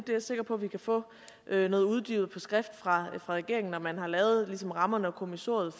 er sikker på at vi kan få noget uddybet på skrift fra regeringen når man ligesom har lavet rammerne og kommissoriet